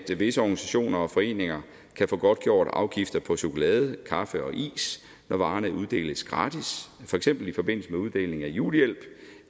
visse organisationer og foreninger kan få godtgjort afgifter på chokolade kaffe og is når varerne uddeles gratis for eksempel i forbindelse med uddeling af julehjælp